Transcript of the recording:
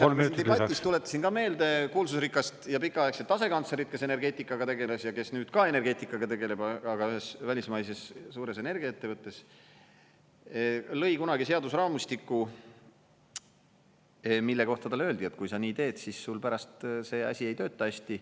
Viimase asjana siin debatis tuletasin ka meelde kuulsusrikast ja pikaaegset asekantslerit, kes energeetikaga tegeles ja kes nüüd ka energeetikaga tegeleb, aga ühes välismaises suures energiaettevõttes, lõi kunagi seadusraamistiku, mille kohta talle öeldi, et kui sa nii teed, siis sul pärast see asi ei tööta hästi.